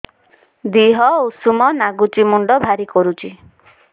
ଦିହ ଉଷୁମ ନାଗୁଚି ମୁଣ୍ଡ ଭାରି କରୁଚି